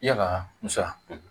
Yala